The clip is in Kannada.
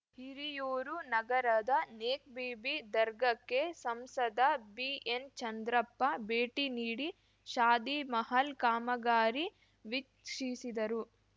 ಹಿರಿಯೂರು ನಗರದ ನೇಕ್‌ಬೀಬಿ ದರ್ಗಕ್ಕೆ ಸಂಸದ ಬಿಎನ್‌ಚಂದ್ರಪ್ಪ ಭೇಟಿ ನೀಡಿ ಶಾದಿಮಹಲ್‌ ಕಾಮಗಾರಿ ವೀಕ್ಷಿಸಿದರು